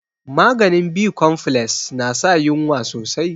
Maganin bicompfiles na sa yunwa sosai